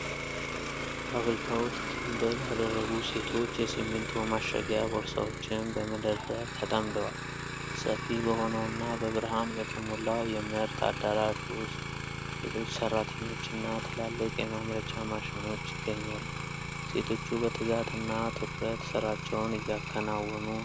ፋብሪካ ውስጥ ጭንብል ያደረጉ ሴቶች የሲሚንቶ ማሸጊያ ቦርሳዎችን በመደርደር ተጠምደዋል። ሰፊ በሆነውና በብርሃን በተሞላው የምርት አዳራሽ ውስጥ ሌሎች ሠራተኞችና ትላልቅ የማምረቻ ማሽኖች ይገኛሉ። ሴቶቹ በትጋት እና ትኩረት ሥራቸውን እያከናወኑ ነው።